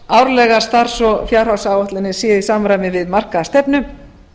að starfs og fjárhagsáætlanir séu í samræmi við markaða stefnu